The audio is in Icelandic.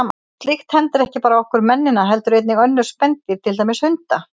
Slíkt hendir ekki bara okkur mennina heldur einnig önnur spendýr, til dæmis hunda.